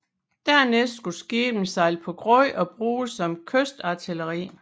Dernæst skulle skibene sejle på grund og bruges som kystartilleri